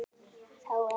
Þá er